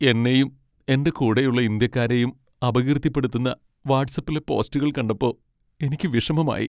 എന്നെയും, എന്റെ കൂടെയുള്ള ഇന്ത്യക്കാരെയും അപകീർത്തിപ്പെടുത്തുന്ന വാട്ട്സ്ആപ്പിലെ പോസ്റ്റുകൾ കണ്ടപ്പോ എനിക്ക് വിഷമമായി.